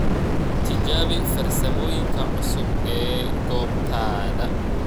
Tijaabi farsamooyinka cusub ee goobtaada.